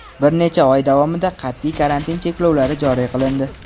bir necha oy davomida qat’iy karantin cheklovlari joriy qilindi.